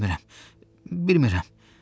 Bilmirəm, bilmirəm.